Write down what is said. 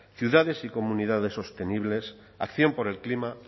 ciudades y comunidades sostenibles acción por el clima